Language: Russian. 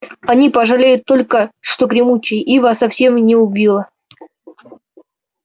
они пожалеют только что гремучая ива совсем его не убила